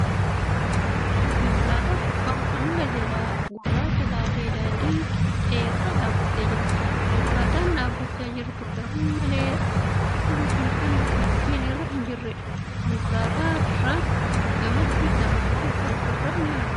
Konkolaataan gubbaa hanga jalaa gurraacha taate daandii qixxee irra dhaabattee jirti . Konkolaataan dhaabachaa jirtu garmalee qulqulluu fi kan dhukkeen irra hi jirreedha. Konkolaataa irraan gamatti gamoowwan fagoo irra ni argamu.